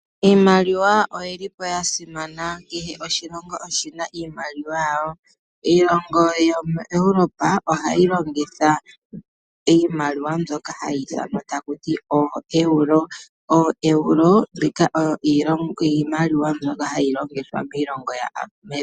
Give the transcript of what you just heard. Iimaliwa oyili yasimana . Kehe oshilongo oshina iimaliwa yasho . Iilongo yaEurope ohayi longitha iimaliwa mbyoka hayi ithanwa ooEuro .